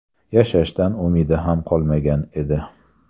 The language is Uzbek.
Yashashdan umidi ham qolmagan edi.